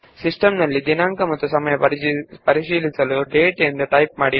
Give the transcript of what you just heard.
system ನ ದಿನಾಂಕ ಮತ್ತು ಸಮಯವನ್ನು ಪರೀಕ್ಷಿಸಲು ಡೇಟ್ ಎಂದು ಟೈಪ್ ಮಾಡಿ